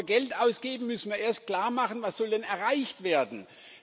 Bevor wir Geld ausgeben, müssen wir erst klarmachen, was denn erreicht werden soll.